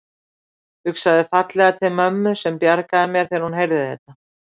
Hugsaði fallega til mömmu sem bjargaði mér þegar hún heyrði þetta.